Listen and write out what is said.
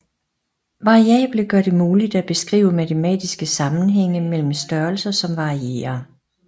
Variable gør det muligt at beskrive matematiske sammenhænge mellem størrelser som varierer